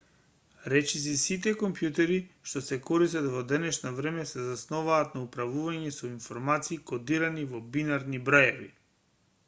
речиси сите компјутери што се користат во денешно време се засноваат на управување со информации кодирани со бинарни броеви